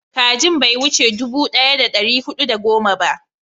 kajin bai wuce dubu daya da dari hudu da goma ba